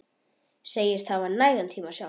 Segist hafa nægan tíma sjálf.